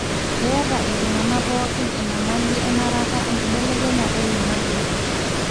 keeta iltunganaa pokin enyamali enarata enkibelekenyata oloingange.